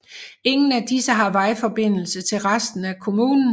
Ingen af disse har vejforbindelse til resten af kommunen